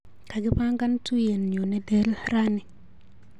Kakipangan tuiyenyu nelel rani.